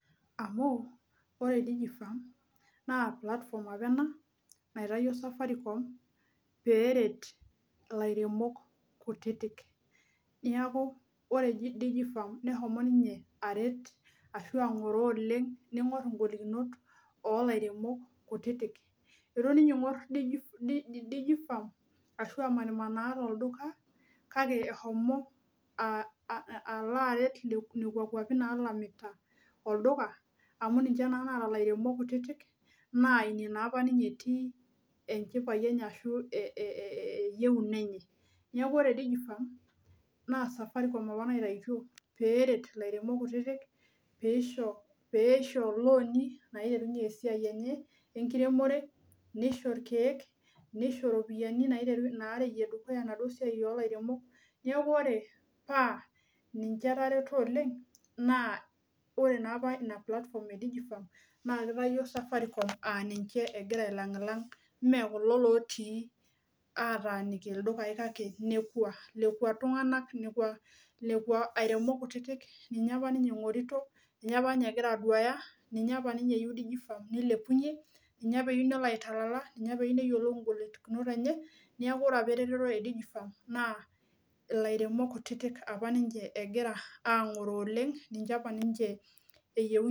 Amu ore safaricom na platform apa ena naitawuo Safaricom pelo aitaduaki lairemok kutik aret oleng ningur ngolikinot olairemok kutitik nitoki aingor ashu emanaa tolduka alo aret nekea kwapi natanikita olduka amu ninche omanita etii enchipae enye ashu ewoi enye neaky Safaricom apa naitautuo peret lairemok kutitik peosho loani naretunye enkiremore niso irkiek nisho ropiyiani narewie enaduo siai neaku ore pa ninche etareto oleng na apa ina platform nakitawuo Safaricom aa ninche egira ailangilang mekulo otii ataaniki ldukae lekua airemok kutitik ninye apa eyieu nilepunye ninye eyieu nelo aitalala ninye eyieu nelo ailepunye na ilairemok kutitik ninche egira angoroo oleng ninche apa ninche eyieunye